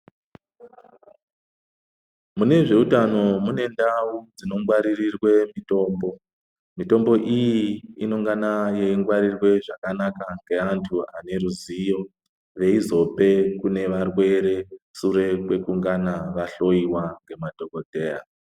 Mune zveutano mune ndau dzinongwarirwe mitombo. Mitombo iyi inongana yeingwarirwe zvakanaka ngeantu vane ruziwo veizope kune vaneurwe sure kwekungana vahloiwa ngemadhokodheya.